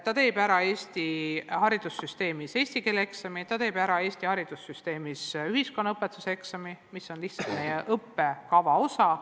Ta teeb Eesti koolis ära eesti keele eksami ja teeb Eesti koolis ära ühiskonnaõpetuse eksami, mis on lihtsalt meie õppekava osa.